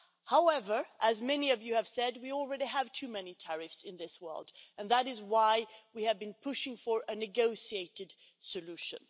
However, as many of you have said, we already have too many tariffs in this world, and that is why we have been pushing for a negotiated solution.